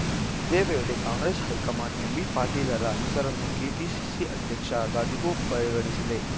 ಇದೇ ವೇಳೆ ಕಾಂಗ್ರೆಸ್‌ ಹೈಕಮಾಂಡ್‌ ಎಂಬಿ ಪಾಟೀಲರ ಹೆಸರನ್ನು ಕೆಪಿಸಿಸಿ ಅಧ್ಯಕ್ಷ ಗಾದಿಗೂ ಪರಿಗಣಿಸಿದೆ